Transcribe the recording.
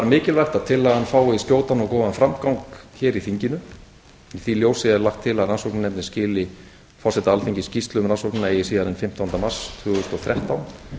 mikilvægt að tillagan fái skjótan og góðan framgang hér í þinginu í því ljósi er lagt til að rannsóknarnefndin skili forseta alþingis skýrslu um rannsóknina eigi síðar en fimmtánda mars tvö þúsund og þrettán